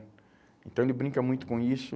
Então, ele brinca muito com isso.